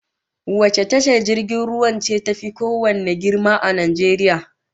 Wace tashar jirgin ruwan ce tafi kowanne girma a Najeriya?